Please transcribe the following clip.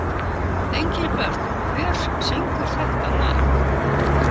Engilbert, hver syngur þetta lag?